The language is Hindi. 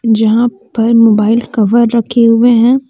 यहां पर मोबाइल कवर रखे हुए हैं।